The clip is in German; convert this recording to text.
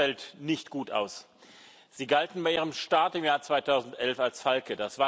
Ihre Bilanz fällt nicht gut aus. Sie galten bei Ihrem Start im Jahr 2011 als Falke.